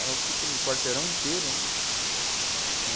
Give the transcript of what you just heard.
Ela ocupa um quarteirão inteiro, né? Chama